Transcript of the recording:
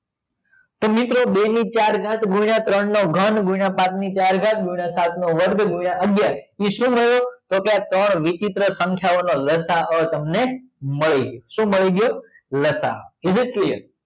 તો મિત્રો બેની ચાર ઘાત ગુણ્યા ત્રણ ત્રણ નો ઘન ગુણ્યા પછ ની ચાર ઘાત ગુણ્યા સાત નો વર્ગ ગુણય અગિયાર તો કે આ ત્રણ વિચિત્ર સંખ્યાઓ લ. સા. અ તમને મળી જશે શું મળી ગયું લ. સા. અ is it clear